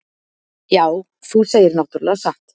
Já, þú segir náttúrlega satt.